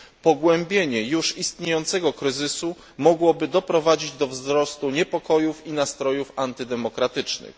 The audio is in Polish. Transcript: Pogłębienie już istniejącego kryzysu mogłoby doprowadzić do wzrostu niepokojów i nastrojów antydemokratycznych.